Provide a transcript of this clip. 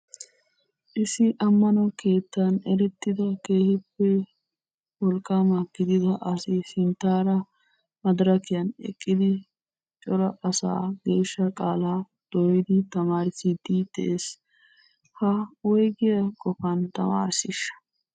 Issi amano keettaan erettida keehippe wolqqama gidida asay sinttaara madirakiyan eqqidi cora asaa geeshsha qaalaa dooyidi tamarissidi de'ees. Ha woygiya qofan tamarisiisha?